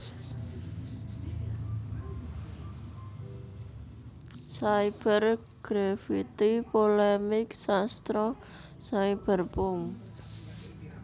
Cyber Grafiti Polemik Sastra Cyberpunk